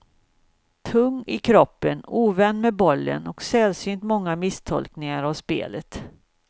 Tung i kroppen, ovän med bollen och sällsynt många misstolkningar av spelet.